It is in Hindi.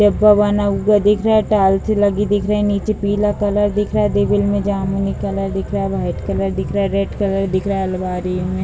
बना हुआ दिख रहा है टाइल्से लगी दिख रही है नीचे पीला कलर दिख रहा है मे जामुनी कलर दिख रहा है व्हाइट कलर दिख रहा है रेड कलर दिख रहा है अलमाड़ी मे ।